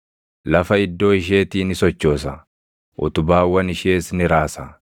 Lafa iddoo isheetii ni sochoosa; utubaawwan ishees ni raasa.